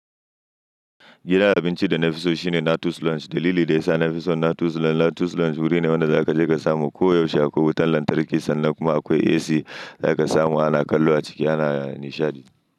Gidan abinci da na fi so shine na Two's Lounge. Dalili da ya sa na fi so na Two's Lounge wuri ne wanda za ka je ka samu kowa yaushe akwai wutar lantarki sannan kuma akwai AC, za ka samu ana kallo a ciki ana nishaɗi.